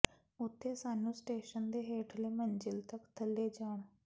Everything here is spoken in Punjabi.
ਉੱਥੇ ਸਾਨੂੰ ਸਟੇਸ਼ਨ ਦੇ ਹੇਠਲੇ ਮੰਜ਼ਿਲ ਤੱਕ ਥੱਲੇ ਜਾਣ